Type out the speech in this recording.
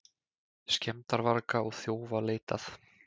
Skemmdarvarga og þjófa leitað